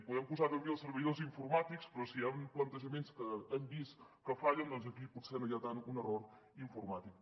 podem posar deu mil servidors informàtics però si hi han plantejaments que hem vist que fallen doncs aquí potser no hi ha tant un error informàtic